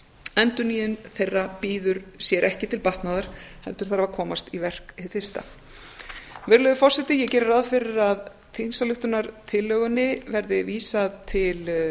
endurnýjun þeirra bíður sér ekki til batnaðar heldur þarf að komast í verk hið fyrsta virðulegur forseti ég geri ráð fyrir að þingsályktunartillögunni verði vísað til